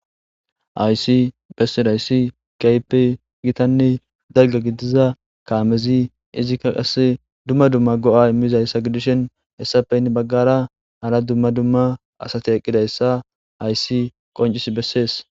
Ayssi bessirhayssi kaype gitanne dalga gidiza kaamezi izikka qase dumma dumma go'a immizayssa gidishen hessafeynne baggara hara dumma dumma asati eqqidayssa hayssi qoncis bessees.